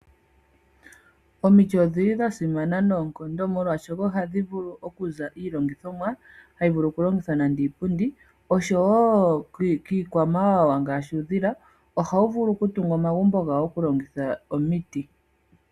Omiti odhi li dhasimana noonkondo molwaashoka ohadhi vulu okuza iilongithomwa, hayi vulu okulongithwa nande iipundi, oshowo kiikwamawawa ngaashi uudhila, ohawu vulu okutunga omagumbo gawo okulongitha omiti.